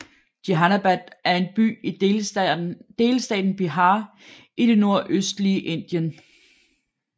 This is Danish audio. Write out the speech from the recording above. Jehanabad er en by i delstaten Bihar i det nordøstlige Indien